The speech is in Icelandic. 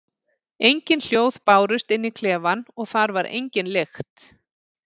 Engin hljóð bárust inn í klefann og þar var engin lykt.